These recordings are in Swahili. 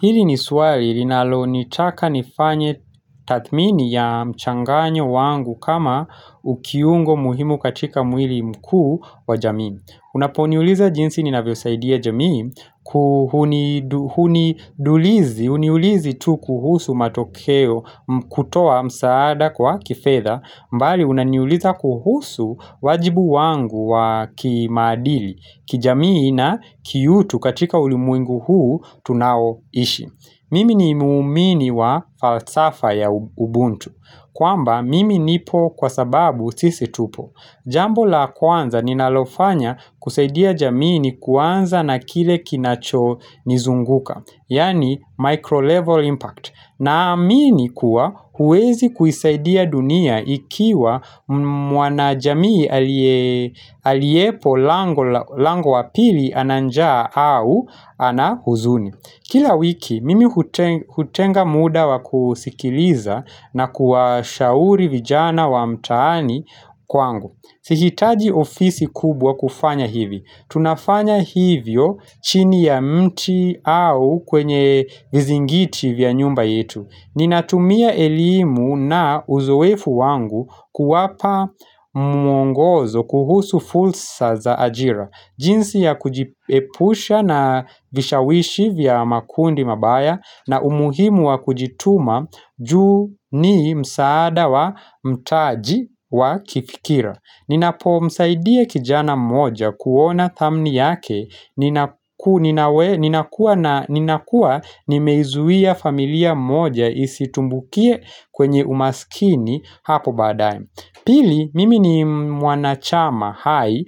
Hili ni swali linalo nitaka nifanye tathmini ya mchanganyo wangu kama ukiungo muhimu katika mwili mkuu wa jamii unaponiuliza jinsi ninavyo saidia jamii kuhuniulizi tu kuhusu matokeo kutoa msaada kwa kifedha mbali unaniuliza kuhusu wajibu wangu wa kimaadili kijamii na kiutu katika ulimwengu huu tunaoishi mimi ni muumini wa falsafa ya ubuntu kwamba mimi nipo kwa sababu sisi tupo jambo la kwanza ninalofanya kusaidia jamii ni kwanza na kile kinacho nizunguka yaani micro level impact naamini kuwa huwezi kuisaidia dunia ikiwa mwanajamii aliepo lango wapili ana njaa au ana huzuni kila wiki mimi hutenga muda wa kusikiliza na kuwa shauri vijana wa mtaani kwangu Sihitaji ofisi kubwa kufanya hivi tunafanya hivyo chini ya mti au kwenye vizingiti vya nyumba yetu ninatumia elimu na uzoefu wangu kuwapa mwongozo kuhusu fulsa za ajira jinsi ya kujipusha na vishawishi vya makundi mabaya na umuhimu wa kujituma juu ni msaada wa mtaji wa kifikira ninapo msaidia kijana moja kuona thamni yake nina ninakua nimeizuia familia moja isitumbukie kwenye umaskini hapo badae Pili mimi ni mwanachama hai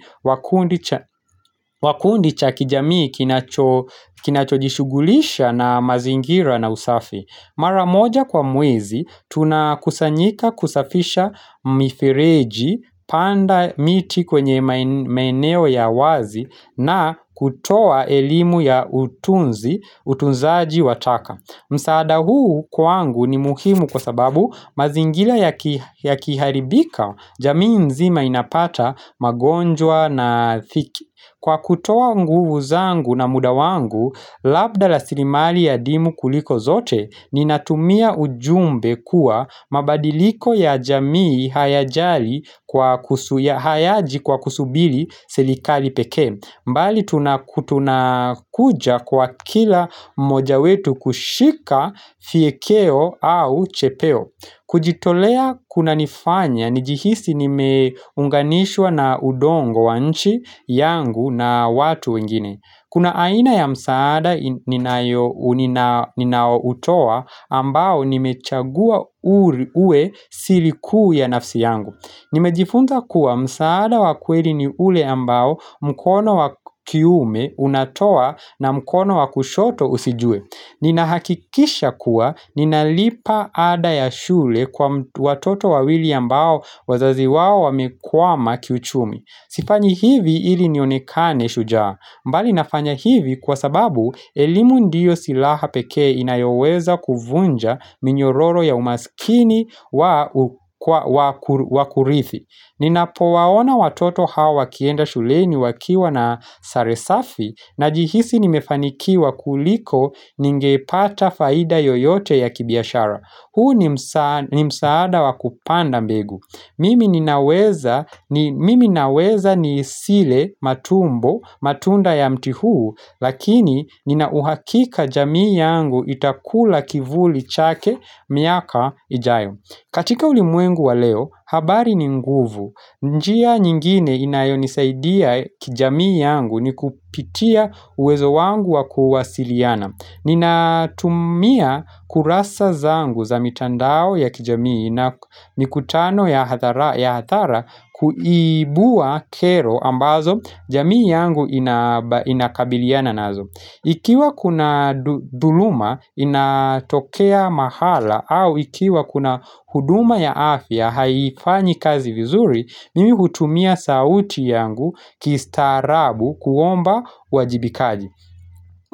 wa kundi cha kijamii kinacho jishugulisha na mazingira na usafi mara moja kwa mwezi tuna kusanyika kusafisha mifireji panda miti kwenye maeneo ya wazi na kutoa elimu ya utunzi utunzaji wa taka. Msaada huu kwangu ni muhimu kwa sababu mazingila yaki yakiharibika jamii nzima inapata magonjwa na thiki Kwa kutoa nguvu zangu na muda wangu labda la sirimali ya dimu kuliko zote ninatumia ujumbe kuwa mabadiliko ya jamii hayaji kwa kusubili silikali pekee mbali tunakutunakuja kwa kila mmoja wetu kushika fiekeo au chepeo kujitolea kuna nifanya nijihisi nimeunganishwa na udongo wanchi yangu na watu wengine Kuna aina ya msaada ninaoutoa ambao nimechagua uwe siri kuu ya nafsi yangu nimejifunza kuwa msaada wa kweli ni ule ambao mkono wa kiume unatoa na mkono wakushoto usijue ninahakikisha kuwa ninalipa ada ya shule kwa watoto wawili ambao wazazi wawo wamekwama kiuchumi sifanyi hivi ili nionekane shujaa mbali nafanya hivi kwa sababu elimu ndiyo silaha pekee inayoweza kuvunja minyororo ya umaskini wakurithi ninapowaona watoto hawa wakienda shuleni wakiwa na sare safi Najihisi nimefanikiwa kuliko ningepata faida yoyote ya kibiashara huu ni msaada ni msaada wakupanda mbegu mimi ninaweza ni sile matumbo matunda ya mti huu lakini ninauhakika jamii yangu itakula kivuli chake miaka ijayo katika ulimwengu wa leo habari ni nguvu njia nyingine inayonisaidia kijamii yangu ni kupitia uwezo wangu wa kuwasiliana ninatumia kurasa zangu za mitandao ya kijamii na mikutano ya hathara kuibua kero ambazo jamii yangu ina inakabiliana nazo Ikiwa kuna dhuluma inatokea mahala au ikiwa kuna huduma ya afya haifanyi kazi vizuri mimi hutumia sauti yangu kistarabu kuomba uwajibikaji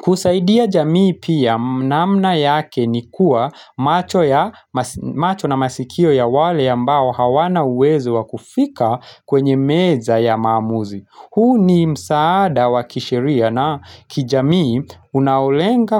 kusaidia jamii pia namna yake ni kua macho na masikio ya wale ambao hawana uwezo wakufika kwenye meza ya maamuzi huu ni msaada wa kisheria na kijamii unaolenga.